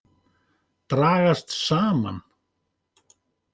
Dragast saman.